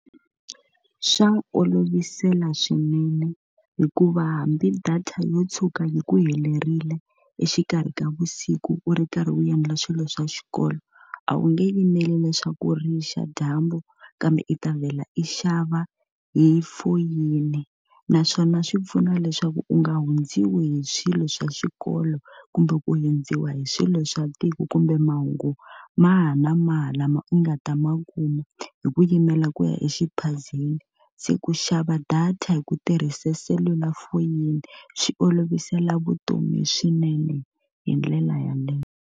Swa olovisela swinene hikuva hambi data yo tshuka yi ku helerile exikarhi ka vusiku u ri karhi u endla swilo swa xikolo, a wu nge yimeli leswaku ri xa dyambu kambe i ta vhela i xava hi foyini. Naswona swi pfuna leswaku u nga hundziwi hi swilo swa xikolo, kumbe ku hundziwa hi swilo swa tiko, kumbe mahungu wahi na wahi lama u nga ta ma kuma hi ku yimela ku ya exiphazeni. Se ku xava data hi ku tirhisa selulafoni swi olovisela vutomi swinene hi ndlela yaleyo.